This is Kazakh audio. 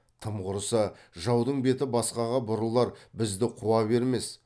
тым құрыса жаудың беті басқаға бұрылар бізді қуа бермес